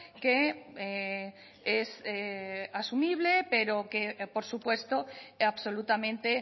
que es asumible pero que por supuesto absolutamente